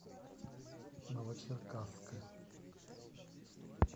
новочеркасска